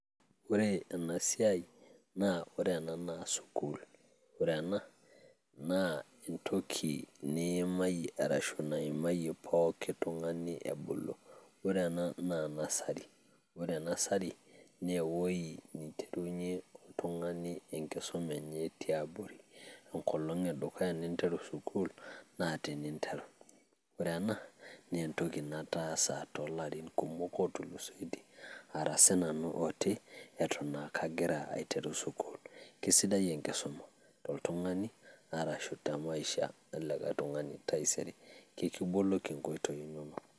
Ore ena siai, naa ore ena naa sukuul ore ena naa entoki niimayie arashu naimayie poki tung`ani ebulu. Ore ena naa nursery, ore nursery naa ewueji nitumie oltung`ani enkisuma enye tiabori. Enkolong e dukuya ninteru sukuul naa tene interu ore ena naa entoki nataasa too larin kumok oo tulusoitie, ara sii nanu oti eton aa kagira aiteru sukuul. Eisidai enkisuma to oltung`ani arashu te maisha elikae tung`ani taisere, ekiboloki nkoitoi inonok.